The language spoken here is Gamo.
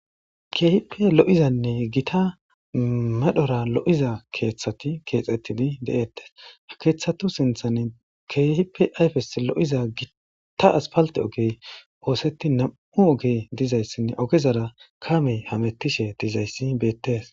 Keehippe lo'izanne Gita medhora lo'iza keethati kexetidi de'etes, ha kethata sinthani keehippe ayfes lo'iza gitta asphalte oygey osetin nam'u ogey dizaysinne ogezara kaamey hamutishe dizays betes .